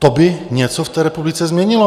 To by něco v té republice změnilo.